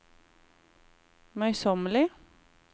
møysommelig